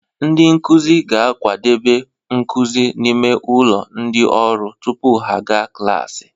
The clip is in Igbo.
Ndị nkuzi ga-akwadebe nkuzi n'ime ụlọ ndị ọrụ tupu ha aga klaasị